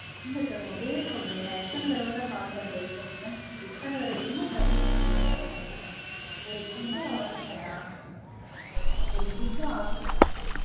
இல்ல sir. உங்க பேர் சொல்லுங்க. நா எத்தன தடவதா call பண்றது சொல்லுங்க. எத்தன தடவ என்ன service first நடத்துறீங்க? ஒரு food order பண்ணா ஒரு food order பண்ணா